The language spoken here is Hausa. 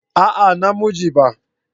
A'a na mu je ba